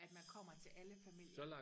at man kommer til alle familier